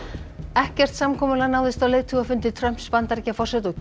ekkert samkomulag náðist á leiðtogafundi Trumps Bandaríkjaforseta og